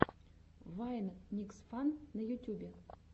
вайн никсфан на ютюбе